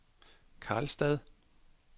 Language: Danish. Karlstad